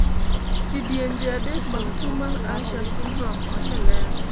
kidienje adek mag tuo mar usher syndrome oseler